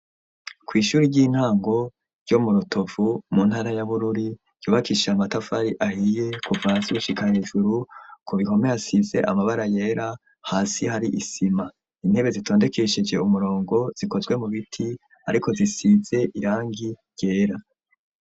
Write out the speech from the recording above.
Kw'ishuri ry'intango ryo mu rutovu mu ntara y'abururi yubakisha matafari ahiye kuva hasi gushika hejuru ku bikome asize amabara yera hasi hari isima intebe zitondekeshije umurongo zikozwe mu biti ariko zisize irangi ryera.